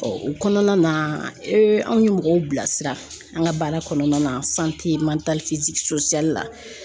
o kɔnɔna na anw ye mɔgɔw bilasira an ka baara kɔnɔna na la.